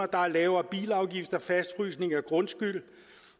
der er lavere bilafgifter og fastfrysning af grundskyld